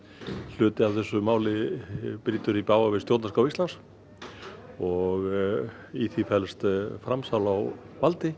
hluti af þessu máli brýtur í bága við stjórnarskrá Íslands og í því felst framsal á valdi